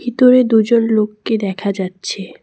ভিতরে দুজন লোককে দেখা যাচ্ছে।